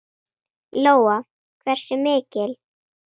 Lóa: Hversu mikil?